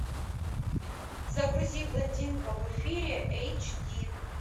загрузи блондинка в эфире эйч ди